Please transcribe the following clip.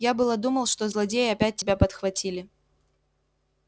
я было думал что злодеи опять тебя подхватили